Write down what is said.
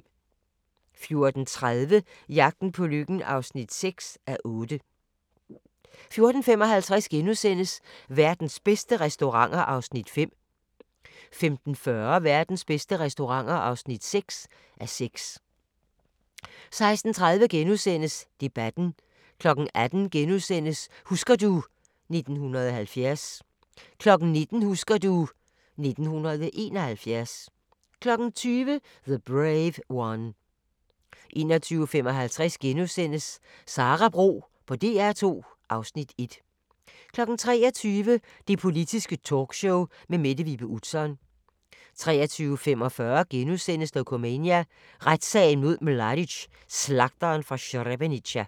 14:30: Jagten på lykken (6:8) 14:55: Verdens bedste restauranter (5:6)* 15:40: Verdens bedste restauranter (6:6) 16:30: Debatten * 18:00: Husker du ... 1970 * 19:00: Husker du ... 1971 20:00: The Brave One 21:55: Sara Bro på DR2 (Afs. 1)* 23:00: Det Politiske Talkshow med Mette Vibe Utzon 23:45: Dokumania: Retssagen mod Mladic – Slagteren fra Srebrenica *